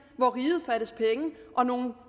hvor riget fattes penge og nogle